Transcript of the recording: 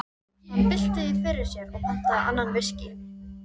Hann bylti því fyrir sér og pantaði annan viskí.